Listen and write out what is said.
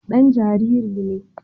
Dan jariri ne